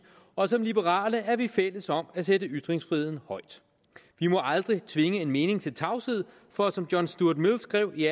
og som liberale er vi fælles om at sætte ytringsfriheden højt vi må aldrig tvinge en mening til tavshed for som john stuart mill skrev i